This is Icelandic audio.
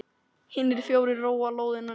Hinir fjórir róa lóðina út.